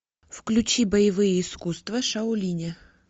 включи боевые искусства шаолиня